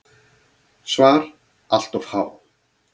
SVAR Allt of há.